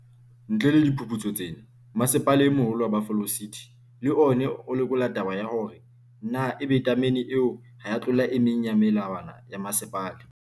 Ntle le diphuputso tsena, Mmasepala e Moholo wa Buffalo City, le ona o lekola taba ya hore na e be tamene eo ha ea tlola e meng ya melawana ya mmasepala.